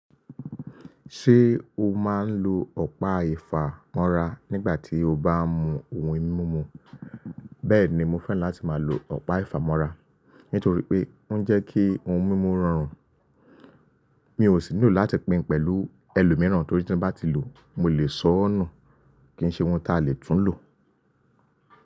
Ṣé o máa ń lo ọ̀pá ìfàmọ́ra nígbà tí o bá ń mu ohun mímu? Bẹ́ẹ̀ni, mo fẹ́ràn láti máa lo ọ̀pá ìfàmọ́ra, nítorí pé ó ń jẹ́ kí ohun mímu rọrùn. Mi ò sì nílò láti pín pẹ̀lú ẹlòmíràn torí tí bá ti lò ó, mo lè sọ́nù kí n ṣe ohun ta lè tún lò.